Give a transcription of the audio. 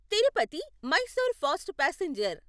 Tirupati Mysore fast passenger